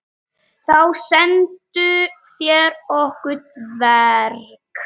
Þá sendu þeir okkur dverg.